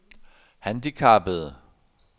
handicappede